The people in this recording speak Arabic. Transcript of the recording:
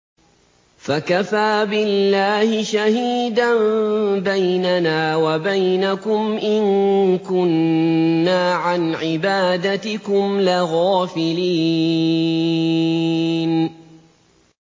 فَكَفَىٰ بِاللَّهِ شَهِيدًا بَيْنَنَا وَبَيْنَكُمْ إِن كُنَّا عَنْ عِبَادَتِكُمْ لَغَافِلِينَ